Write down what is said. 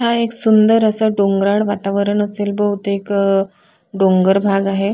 हा एक सुंदर असा डोंगराळ वातावरण असेल बहुतेक अ डोंगर भाग आहे.